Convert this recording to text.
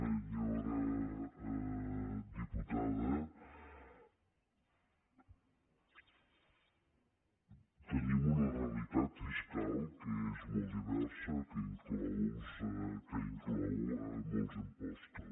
senyora diputada tenim una realitat fiscal que és molt diversa que inclou molts impostos